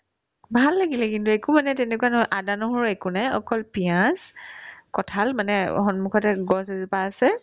ভাল লাগিলে কিন্তু একো মানে তেনেকুৱা নহয় আদা-নহৰু একো নাই অকল পিঁয়াজ কঁঠাল মানে সন্মুখতে গছ এজোপা আছে